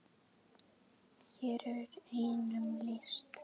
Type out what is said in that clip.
Hér er einum lýst.